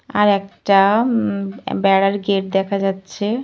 আর একটা মম বেড়ার গেট দেখা যাচ্ছে।